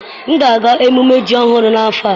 M ga-aga ememme Ji ọhụrụ n'afọ a.